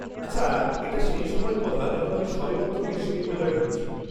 আচ্ছা, এটা সেই সময়ের কথা যখন আমি সবেমাত্র বিশ্ববিদ্যালয়ে ঢুকছি।